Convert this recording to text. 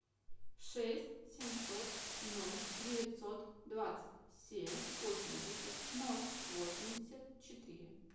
шесть семьсот ноль девятьсот двадцать семь восемьдесят ноль восемьдесят четыре